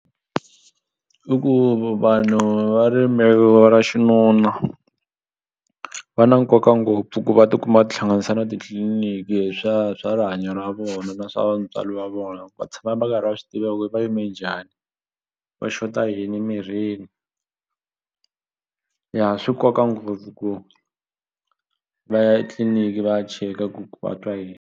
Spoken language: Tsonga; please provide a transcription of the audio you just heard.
I ku vanhu va rimbewu ra xinuna va na nkoka ngopfu ku va tikuma va tihlanganisa na titliliniki hi swa swa rihanyo ra vona na swa ntswalo wa vona ku va tshama va karhi va swi tiva ku va yime njhani va xota yini emirhini ya swi nkoka ngopfu ku va ya etliliniki va ya cheka ku va twa yini.